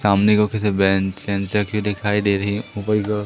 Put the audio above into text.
सामने को किसी बैंक दिखाई दे रही है --